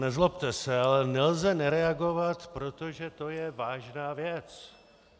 Nezlobte se, ale nelze nereagovat, protože to je vážná věc!